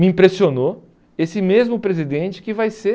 Me impressionou esse mesmo presidente que vai ser